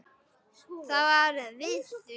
Það varð við því.